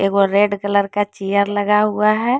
एक वो red colour का चेयर लगा हुआ है।